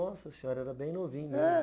Nossa senhora, era bem novinho. É.